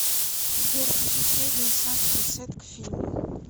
сбер хочу средний сладкий сет к фильму